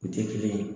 U tɛ kelen ye